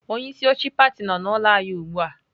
Onye isi oche pati no n'ulo anyi ugbua.